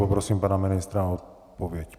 Poprosím pana ministra o odpověď.